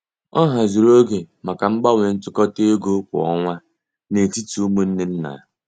Ọ haziri oge maka ịgbanwe ntụkọta égo kwa ọnwa n'etiti umunne nna.